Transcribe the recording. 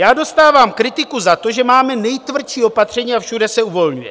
Já dostávám kritiku za to, že máme nejtvrdší opatření, a všude se uvolňuje.